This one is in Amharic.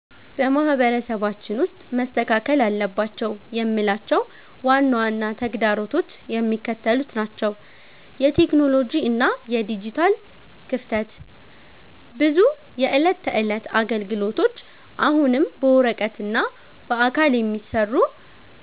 በማህበረሰባችን ውስጥ መስተካከል አለባቸው የምላቸው ዋና ዋና ተግዳሮቶች የሚከተሉት ናቸው የቴክኖሎጂ እና የዲጂታል ክፍተት፦ ብዙ የዕለት ተዕለት አገልግሎቶች አሁንም በወረቀትና በአካል የሚሰሩ